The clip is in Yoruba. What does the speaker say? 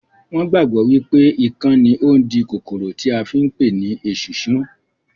Wọn gbàgbọ́ wípé ikán ni ó ń di kòkòrò tí à ń pè ní esunsun